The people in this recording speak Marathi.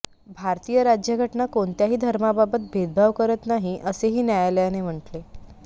भारतीय राज्यघटना कोणत्याही धर्माबाबत भेदभाव करत नाही असेही न्यायालयाने म्हटले